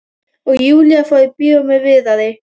Og Júlía fór í bíó með Viðari.